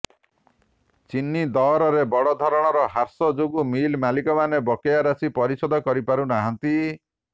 ଚିନି ଦରରେ ବଡଧରଣ ହ୍ରାସ ଯୋଗୁଁ ମିଲ ମାଲିକମାନେ ବକେୟା ରାଶି ପରିଶୋଧ କରିପାରୁ ନାହାନ୍ତି